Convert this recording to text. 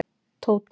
Tóta